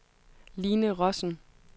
Line Rossen